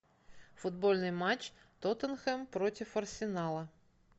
футбольный матч тоттенхэм против арсенала